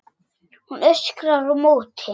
Hún öskrar á móti.